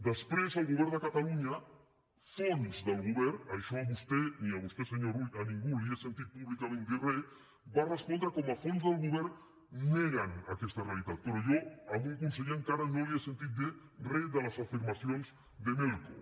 després el govern de catalunya fonts del govern això a vostè ni a vostè senyor rull a ningú li he sentit públicament dir re va respondre com a fonts del govern neguen aquesta realitat però jo a un conseller encara no li he sentit dir re de les afirmacions de melco